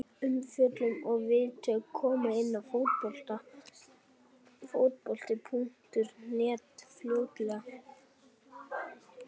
Umfjöllun og viðtöl koma inn á Fótbolti.net fljótlega.